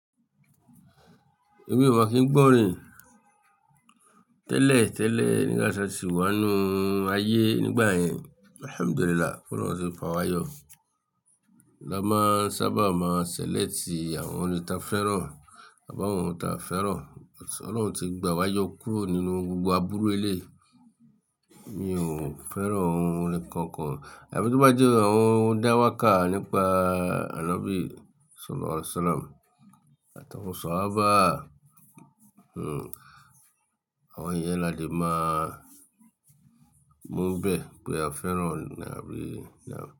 Èmi ò ma kí n gbọ́ rìn. Tẹ́lẹ̀ tẹ́lẹ̀ nígbà tí a sì wá nínu ayé nígbà yẹn, Alhamdulillah, kó lọ́run tí ń fa wa yọ. La máa sábà máa ṣẹlẹ̀cti àwọn orí ti a fẹ́ràn àbi àwọn tí a ò fẹ́ràn. Ọlọ́run ti gbà wa yọ kúrò nínú gbogbo abúrú ẹlẹ́yi. Mi ò fẹ́ràn ohun nnkan kan. Ẹfi tí o bá jẹ́ ohun dáwàkà nípa Àlàbí ṣólà Ọláṣọ̀làm, àti awon sọ á bá, àwọn iyẹn la lè máa gbon bẹ́ẹ tori a fẹ́ràn Àlàabí.